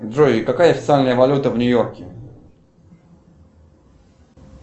джой какая официальная валюта в нью йорке